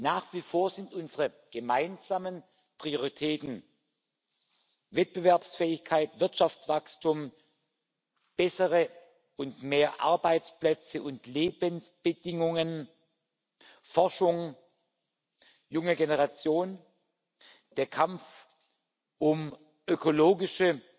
Nach wie vor sind unsere gemeinsamen Prioritäten Wettbewerbsfähigkeit, Wirtschaftswachstum, bessere und mehr Arbeitsplätze und Lebensbedingungen, Forschung, die junge Generation, der Kampf um ökologische